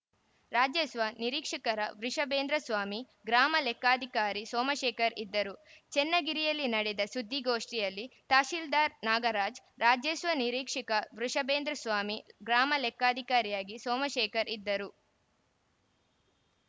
ರಾಜಸ್ವ ನಿರೀಕ್ಷಕರ ವೃಷಬೇಂದ್ರಸ್ವಾಮಿ ಗ್ರಾಮ ಲೆಕ್ಕಾಧಿಕಾರಿ ಸೋಮಶೇಖರ್‌ ಇದ್ದರು ಚನ್ನಗಿರಿಯಲ್ಲಿ ನಡೆದ ಸುದ್ದಿಗೋಷ್ಠಿಯಲ್ಲಿ ತಹಶೀಲ್ದಾರ್‌ ನಾಗರಾಜ್‌ ರಾಜಸ್ವ ನಿರೀಕ್ಷಕ ವೃಷಬೇಂದ್ರಸ್ವಾಮಿ ಗ್ರಾಮ ಲೆಕ್ಕಾಧಿಕಾರಿಯಾಗಿ ಸೋಮಶೇಖರ್‌ ಇದ್ದರು